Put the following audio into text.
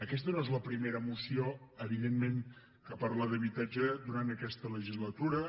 aquesta no és la primera moció evidentment que parla d’habitatge durant aquesta legislatura